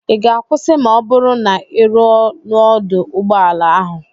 Ị ga-akwụsị ma ọ bụrụ na ị ruo n'ọdụ ụgbọ ala ahụ?